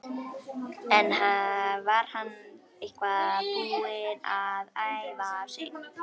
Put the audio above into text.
En var hann eitthvað búinn að æfa sig?